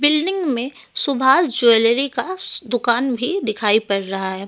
Building में Subhash jewellery का दुकान भी दिखाई पड़ रहा है।